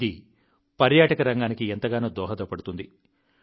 ఇది పర్యాటక రంగానికి ఎంతగానో దోహదపడుతుంది